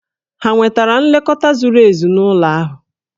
Hà nwetara nlekọta zuru ezu n'ụlọ ahụ?